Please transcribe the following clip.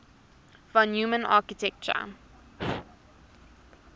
von neumann architecture